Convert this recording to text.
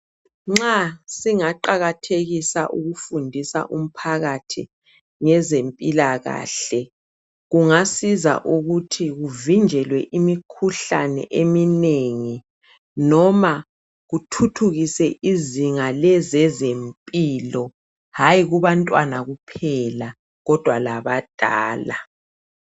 Nxa singaqakathekisa ukufundisa umphakathi ngezempilakahle kungasiza ukuthi kuvinjwelwe imikhuhlane eminengi noma kuthuthukise izinga lezezempilo hayi kubantwana kuphela kodwa labadala